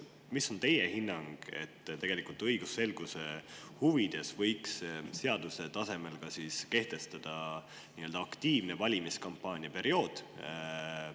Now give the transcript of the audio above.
Mis on teie hinnang, kas õigusselguse huvides võiks seaduse tasemel kehtestada aktiivse valimiskampaania perioodi?